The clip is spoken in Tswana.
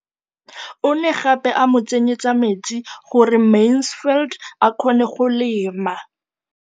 O ne gape a mo tsenyetsa metsi gore Mansfield a kgone go lema.